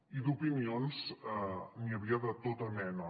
i d’opinions n’hi havia de tota mena